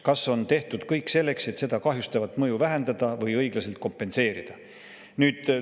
Kas on tehtud kõik selleks, et seda kahjustavat mõju vähendada või õiglaselt kompenseerida?